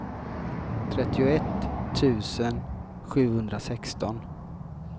trettioett tusen sjuhundrasexton